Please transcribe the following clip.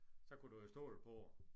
Så kunne du jo stole på